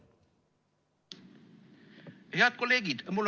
Head kolleegid!